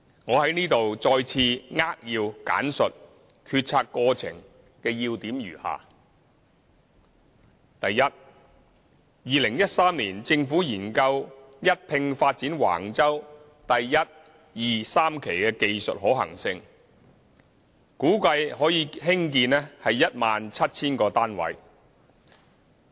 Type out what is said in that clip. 我在此再次扼要簡述決策過程的要點如下：第一 ，2013 年，政府研究一併發展橫洲第1、2、3期的技術可行性，估計可興建 17,000 個單位。